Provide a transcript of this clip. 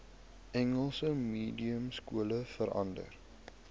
engels mediumskole verander